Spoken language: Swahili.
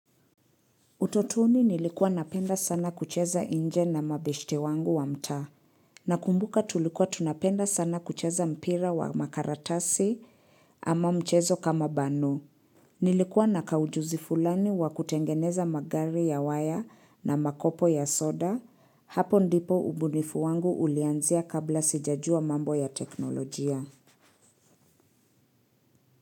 Utotoni nilikuwa napenda sana kucheza inje na mabeshte wangu wa mtaa. Nakumbuka tulikuwa tunapenda sana kucheza mpira wa makaratasi ama mchezo kama bano. Nilikuwa na kaujuzi fulani wa kutengeneza magari ya waya na makopo ya soda. Hapo ndipo ubunifu wangu ulianzia kabla sijajua mambo ya teknolojia.